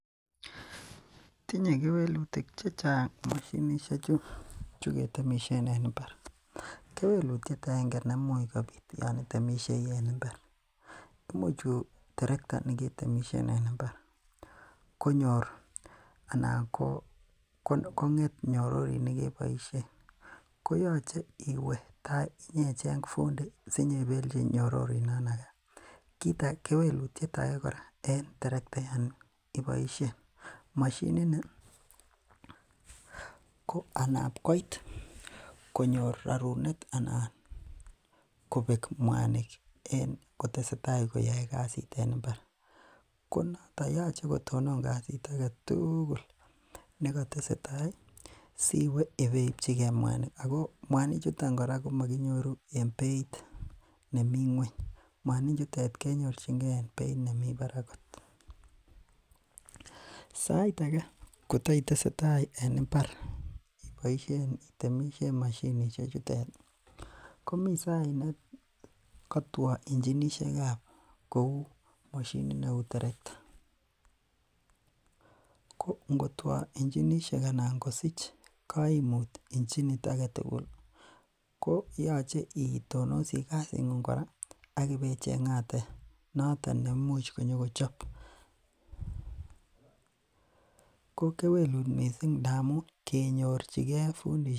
Tinye kewelutik chechang mashinisiek chekiboisien en imbar. Kewelutiet aenge nemuch kobit Yoon itemishei en imbar ih imuch terekta neketemisien en imbar konyor kong'et nyororit nekiboisien, koyache iwe ibecheng fundi sibeibelchi nyororit noon age kewelutiet age kora en terekta Yoon iboisien mashinit ni ko anab koit konyor rarunet kobek mwanik en kotesetai koyae kasit en imbar ko noto yoche kotonon kasit agetugul nekatesetai siwe ibeichi ge mwanik Ako , mwanik chutet komaginyoru en beit nemii ngueny kinyorchin ge en beit nemi barak kot missing sait age kotai tesetai en imbar ih itemishen mashinisiek chutet ih ko mi sait ne katuoo ichinisiekab kouu mashinit neuu terekta. Ko ingo tuaa ichinisiek anan ingosich kaimuut aketugul ih koyache itonosie kasit ng'ung kora ih akibecheng'ate nenyokochobe. Ko kewelut missing ngamuun kenyorchige fundisiek kouui.